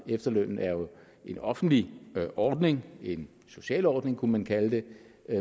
efterlønnen er jo en offentlig ordning en social ordning kunne man kalde det